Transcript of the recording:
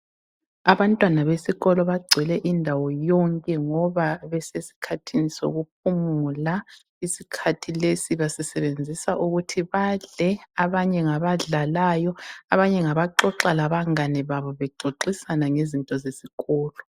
Abantwana besikolo bagcwele indawo yonke ngoba besesikhathini sokuphumula. Isikhathi lesi basisebenzisa ukuthi badle, abanye ngabadlalayo, abanye ngabaxoxa labangane babo bexoxisana ngezinto zesikolo.